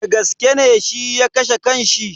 Dagaske ne shi ya kashe kan shi?